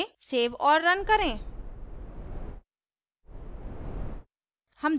save और run करें